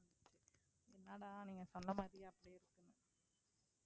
இல்லடா நீங்க சொன்ன மாதிரி